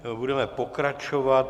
Budeme pokračovat.